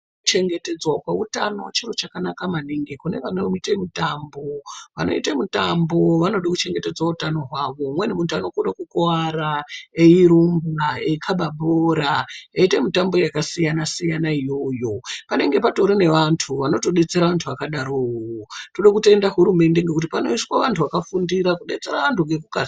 Kuchengetedzwa kweutano chiro chakanaka maningi kune vanoite mutambo, vanoite mutambo vanode kuchengete utano hwawo umweni muntu unokone kukuwara eirumba eikaba bhora , eitemitambo yakasiyanasiyana iyoyo panenge patori nevanthu vanotodetsera vantu vakadarowo , toda kutenda huremende nekuti panoiswe vantu vakafundira kudetsera vantu. nekukasira.....